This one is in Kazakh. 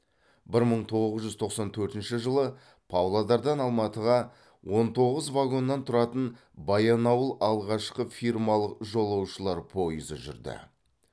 бір мың тоғыз жүз тоқсан төртінші жылы павлодардан алматыға он тоғыз вагоннан тұратын баянауыл алғашқы фирмалық жолаушылар пойызы жүрді